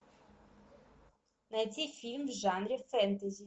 найди фильм в жанре фэнтези